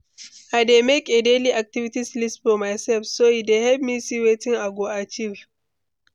i dey make a daily-activities list for myself, so e dey help me see wetin i go achieve.